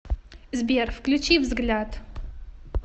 сбер включи взгляд